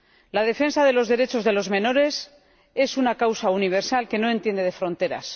La defensa de los derechos de los menores es una causa universal que no entiende de fronteras